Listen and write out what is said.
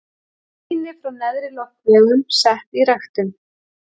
Sýni frá neðri loftvegum sett í ræktun.